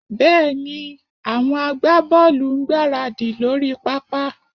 Bẹ́ẹ̀ni, àwọn agbábọ́ọ̀lù ń gbáradì lórí pápá